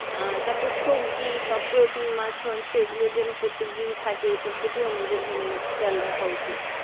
আঃ তারপর সবজি বা প্রোটিন মাছ মাংস যেন প্রত্যেকদিন থাকে এটার প্রতি আমাদের খেয়াল রাখা উচিত।